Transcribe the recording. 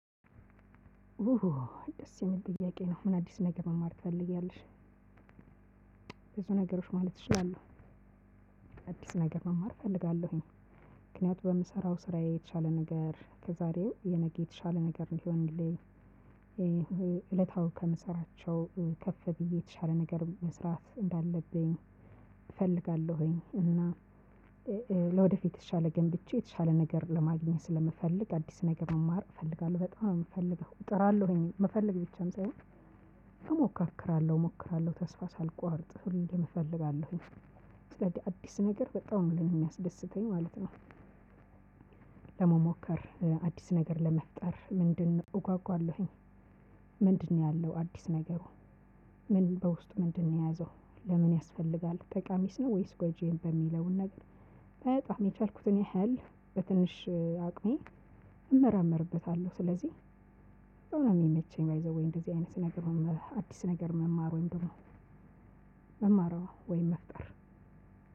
ደስ የሚል ጥያቄ ነው። ምን አዲስ ነገር መማር ትፈልጊያለሽ? ብዙ ነገሮች ማለት እችላለሁ። አዲስ ነገር መማር እፈልጋለሁኝ። ምክንያቱም በምሰራው ስራዬ የቻለ ነገር ከዛሬው የነገ የተሻለ ነገር እንዲሆንልኝ፤ ይሄ እለታዊ ከምሰራቸው ከፍ ብዬ የተሻለ ነገር መስራት እንዳለብኝ፤ እፈልጋለሁኝ። እና ለወደፊት የተሻለ ገንብቼ የተሻለ ነገር ለማግኘት ስለምፈልግ አዲስ ነገር መማር እፈልጋለሁ። በጣም ነው እፈልገው እጥራለሁኝ የምፈልግ ብቻም ሳይሆን ብቻ እሞካክራለሁ፣ እሞክራለሁ ተስፋ ሳልቆርጥ ሁሌም እፈልጋለሁ። አዲስ ነገር በጣም ነው ለኔ የሚያስደስተኝ ማለት ነው። ምክንያቱም በምሰራው ስራ የቻለ ነገር ከዛሬው የነገ የተሻለ ነገር ሊሆንልኝ ይሄ እለታዊ ከምሰራቸው ከፍ ብዬ የተሻለ ነገር መስራት እንዳለብኝ፤ ምንድን ነው ያለው አዲስ ነገር በውስጡ ምንድን ነው የያዘው? ለምን ያስፈልጋል? ጠቃሚስ ነው ወይስ ጎጂ የሚለውን ነገር በጣም የቻልኩትን ያህል በትንሽ አቅሜ እመራመርበታለሁ። ስለዚህ በጣም ነው ሚመቸኝ ባይ ዘ ዌይ እንደዚህ አይነት ነገር አዲስ ነገር መማሩን ደግሞ መማሩ ወይም መፍጠር